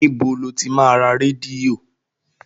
Níbo lo ti máa ra rédíò?